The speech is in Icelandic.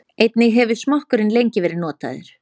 Einnig hefur smokkurinn lengi verið notaður.